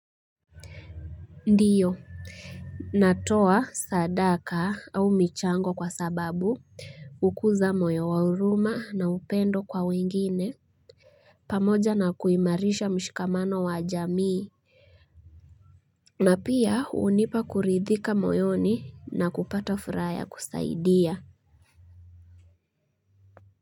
Ndiyo natoa sadaka au michango kwa sababu hukuza moyo wa huruma na upendo kwa wengine pamoja na kuimarisha mshikamano wa jamii na pia unipa kuridhika moyoni na kupata furaha ya kusaidia.